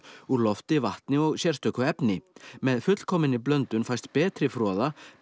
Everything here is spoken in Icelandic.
úr lofti vatni og sérstöku efni með fullkominni blöndun fæst betri froða með